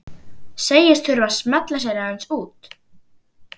Segist þurfa að smella sér aðeins út.